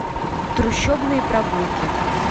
трущобные прогулки